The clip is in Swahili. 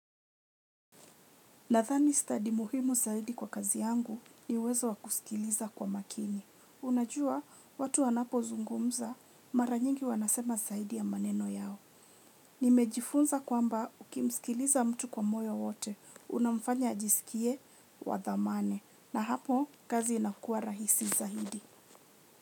Nadhani stadi muhimu zaidi kwa kazi yangu ni uwezo wa kusikiliza kwa makini. Unajua watu wanapo zungumza mara nyingi wanasema zaidi ya maneno yao. Nimejifunza kwamba ukimsikiliza mtu kwa moyo wote unamfanya ajisikie wa dhamani na hapo kazi inakua rahisi zaidi.